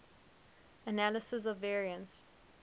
analysis of variance